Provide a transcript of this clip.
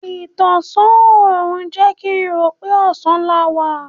Ìtọ̀sán òrùn jẹ́ kín rò pé ọ̀sán la wá.